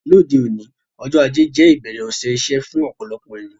Lóde òní, ọjọ́ ajé je ìbẹ̀rẹ̀ òsẹ̀ isẹ́ fún ọ̀pọ̀lọpọ̀ èyàn